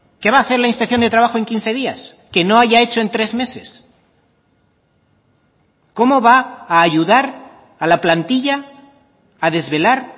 qué va a hacer la inspección de trabajo en quince días que no haya hecho en tres meses cómo va a ayudar a la plantilla a desvelar